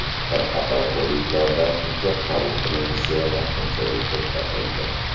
Bir qator kollejlarda hujjat qabul qilinishi vaqtinchalik to‘xtatildi.